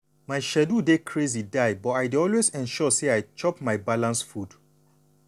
my schedule dey crazy die but i dey always ensure say i chop my balanced food.